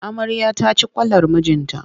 Amaryar ta ci kwalar mijinta.